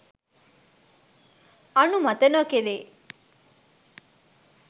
අනුමත නොකෙරේ.